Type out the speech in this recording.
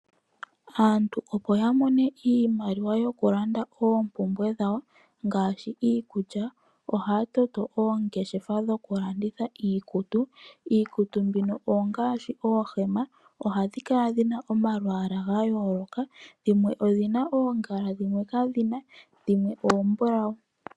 Aantu opo yamone iimaliwa yokulanda oompumbwe dhawo ngaashi iikulya, ohaya toto oongeshefa dhokulanditha iikutu. Iikutu mbino ongaashi oohema . Ohadhi kala dhina omalwaala gayooloka, dhimwe odhina oongala, dhimwe kaadhina. Dhimwe oombulau.